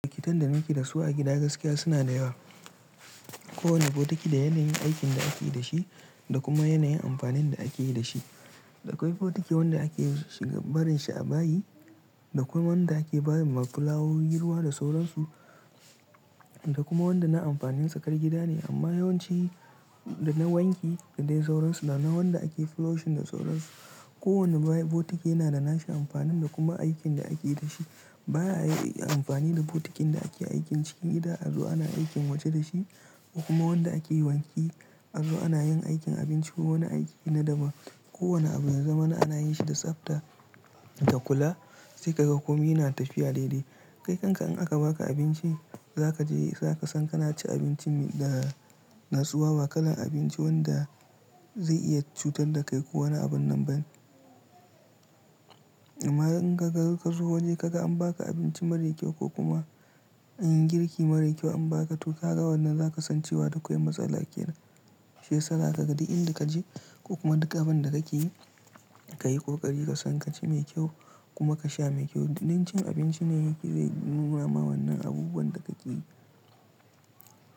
Bokitan da muke da su a gida gaskiya suna da yawa. Ko wane botiki da yanayin aikin da ake yi da shi da kuma yanayin amfanin da ake yi da shi. Akwai botiki wanda ake shiga barin shi a bayi, da kwai wanda ake ba ma filawowi ruwa da sauransu, da kuma wanda na amfanin tsakar gida ne amma yawanci da na wanki da dai sauransu, da na wanda ake flushing da sauransu. Ko wane bo botiki yana da nashi amfanin da kuma aikin da ake yi da shi. Ba a yi amfani da botikin da ake aikin cikin gida a zo ana aikin waje da shi, ko kuma wanda ake wanki an zo ana yin aikin abinci ko wani aiki na daban. Ko wane abu ya zamana ana yin shi da tsabta da kula sai ka ga kome yana tafiya daidai. Kai kanka in aka ba ka abinci za ka je za ka san kana ci abinci da natsuwa ba kalan abinci wanda zai iya cutar da kai ko wani abun nan ba ne. Amma in ka ga ka zo waje ka ga an ba ka abinci mara kyau ko kuma an yi girki mara kyau an ba ka to ka ga wannan za ka san cewa da kwai matsala kenan. Shi yasa za ka ga duk inda ka je ko kuma duk abin da kake yi ka yi ƙoƙari ka san ka ci mai kyau kuma ka sha mai kyau. Do min cin abinci ne yake zai nuna ma wannan abubuwan da kake yi.